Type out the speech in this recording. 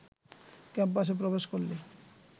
ক্যাম্পাসে প্রবেশ করলে